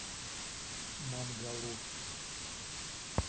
мангалур